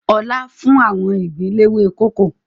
Ọlá fún àwọn ìgbín léwé kókò